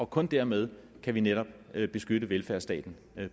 kun dermed kan vi netop beskytte velfærdsstaten